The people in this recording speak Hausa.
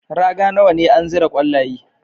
Raga nawa ne an zira kwallaye?